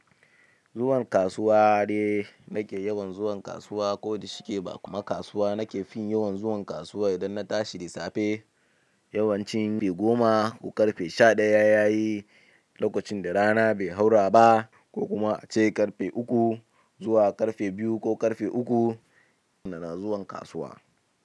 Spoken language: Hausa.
Zuwan kasuwa de nake yawan zuwan kasuwa ko da shike ba kuma kasuwa nake fin yawan zuwan kasuwa idan na tashi da safe yawancin ƙarfe goma ko ƙarfe sha ɗaya yayi lokocin da rana bai haura ba ko kuma ace ƙarfe uku zuwa ƙarfe biyu ko ƙarfe uku, sannan na zuwa kasuwa.